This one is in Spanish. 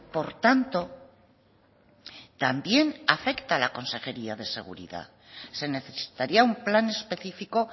por tanto también afecta a la consejería de seguridad se necesitaría un plan específico